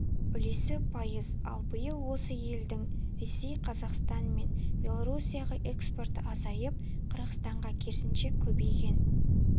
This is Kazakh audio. үлесі пайыз ал биыл осы елдің ресей қазақстан мен белорусияға экспорты азайып қырғызстанға керісінше көбейген